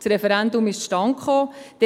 Das Referendum ist zustande gekommen.